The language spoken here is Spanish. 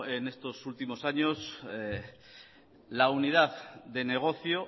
en estos últimos años la unidad de negocio